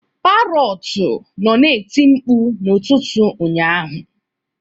Parọtu nọ na-eti mkpu n'ụtụtụ ụnyaahụ